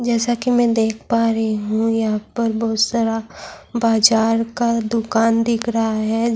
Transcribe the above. جیسا کی میں دیکھ پا رہی ہو یہاں پر بہت سارا بازار کا دکان دیکھ رہا ہے۔